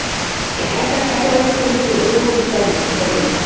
Ég held að Keflavík, Fylkir og Þróttur berjist um dolluna.